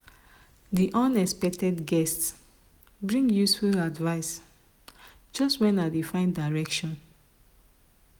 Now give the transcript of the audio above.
the unexpected guest bring useful advice just when i dey find direction.